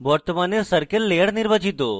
বর্তমানে circle layer নির্বাচিত